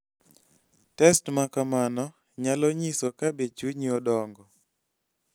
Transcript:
Test ma kamano nyalo nyiso ka be chunyi odongo.